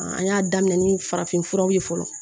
an y'a daminɛ ni farafinfuraw ye fɔlɔ